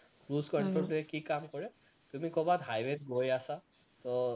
cruise control টোৱে কি কাম কৰে তুমি কৰবাত highway ত গৈ আছা, তো